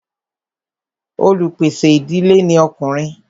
olupèsè ìdílé ní Ọkùnrin.